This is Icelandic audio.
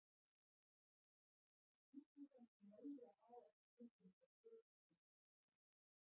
Okkur finnst við kannski mega ala þær tilfinningar í brjósti sem okkur sýnist.